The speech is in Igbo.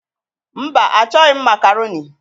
Mba, achọghị m makaroni.